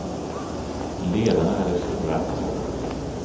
Ledarna är det svårare att komma åt.